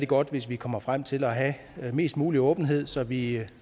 godt hvis vi kommer frem til at have mest mulig åbenhed så vi